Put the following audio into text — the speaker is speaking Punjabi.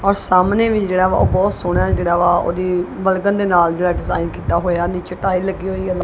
ਔਰ ਸਾਹਮਣੇ ਵੀ ਓਹ ਬਹੁਤ ਸੋਹਨਾ ਹੈ ਜਿਹੜਾ ਵਾ ਓਹਦੀ ਬਲਗਨ ਦੇ ਨਾਲ ਜਿਹੜਾ ਡਿਜ਼ਾਈਨ ਕੀਤਾ ਹੋਇਆ ਨੀਚੇ ਟਾਈਲ ਲੱਗੀ ਹੋਈਆ।